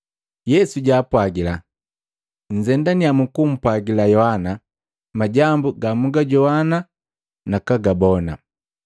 Yesu jaapwagila, “Nnzendannya mkumpwagila Yohana majambu gamwagajoana nakagabona,